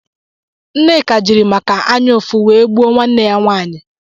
Nneka jiri màkà anyaufu wee gbụo nwanne ya nwanyi.